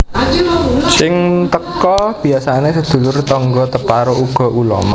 Sing teka biasane sedulur tangga teparo uga ulama